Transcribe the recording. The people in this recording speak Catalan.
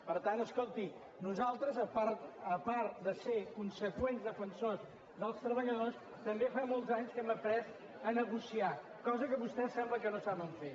per tant escolti nosaltres a part de ser conseqüents defensors dels treballadors també fa molts anys que hem après a negociar cosa que vostès sembla que no saben fer